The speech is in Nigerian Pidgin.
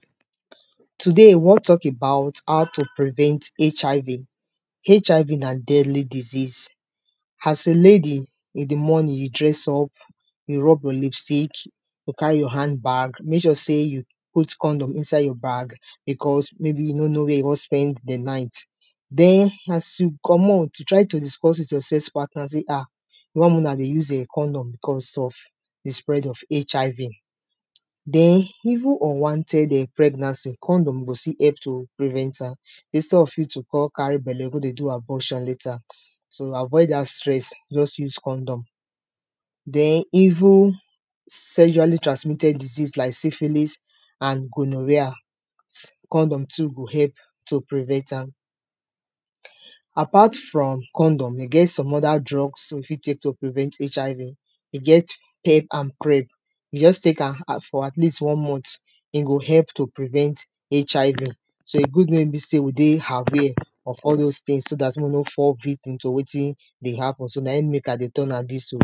Today we wan talk about how to prevent HIV, HIV na deadly disease, as a lady you dress up, you rob lip stick, you carry your hand bag make sure sey you put condom inside your bag becos maybe you no know where you wan spend di night den as you comot try to discuss with your sex partner sey ah you wan wey una dey use condom becos of di spread of HIV. Den even unwanted pregnancy condom go still help to prevent am instead of you to kon carry belle go dey do abortion later so avoid dat stress just use condom, den even sextually transmitted disease like syphilis and gonorrhea, condom too go help to prevent am. Apart from condom e get some oda drugs wey you fit take to prevent HIV, e get head and cream just take am for at least one month, e go help to prevent HIV so e good wey be sey we dey aware of all dose tins so dat we no go fall victim to wetin dey happen so naim make I dey tell una dis oh.